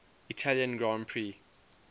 italian grand prix